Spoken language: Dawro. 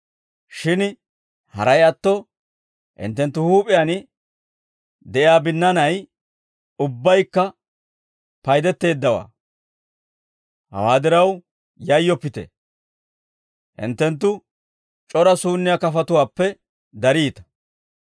Shin haray atto hinttenttu huup'iyaan de'iyaa binnaanay ubbaykka paydetteeddawaa; hawaa diraw yayyoppite; hinttenttu c'ora suunniyaa kafatuwaappe dariita.